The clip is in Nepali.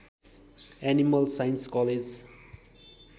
animal science college